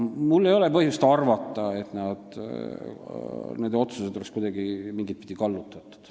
Mul ei ole põhjust arvata, et nende otsused oleksid olnud kuidagi mingitpidi kallutatud.